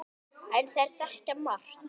En þeir þekkja margt.